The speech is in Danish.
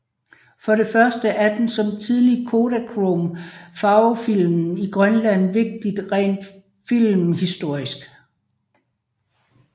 For det første er den som tidlig Kodachrome farvefilm i Grønland vigtig rent filmhistorisk